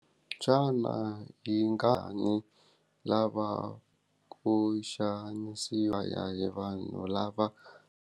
Xana yi nga ha ni lava ku xanisiwa ya hi vanhu lava.